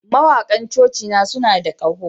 Mawakan cocina suna da ƙaho